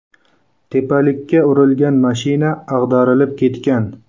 Tepalikka urilgan mashina ag‘darilib ketgan.